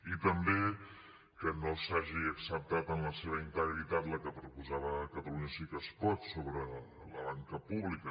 i també que no s’hagi acceptat en la seva integritat la que proposava catalunya sí que es pot sobre la banca pública